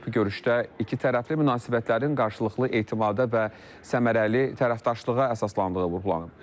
Görüşdə ikitərəfli münasibətlərin qarşılıqlı etimada və səmərəli tərəfdaşlığa əsaslandığı vurğulanıb.